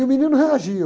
E o menino reagia.